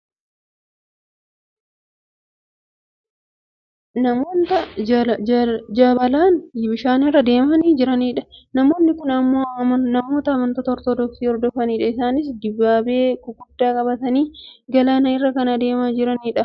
Namoota jabalaan bishaan irra deemaa jiranidha. Namoonni kun ammoo namoota amantaan ortodoksi hordofanidha. Isaanis dibaabee gurguddaa qabatanii galaana kana irra deemaa kan jirani dha. Galaanni kun ammoo galaana guddaa dha.